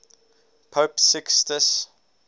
pope sixtus